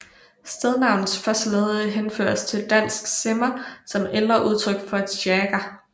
Stednavnets første led henføres til dansk simmer som ældre udtryk for sjagger